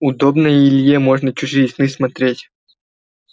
удобно и илье можно чужие сны смотреть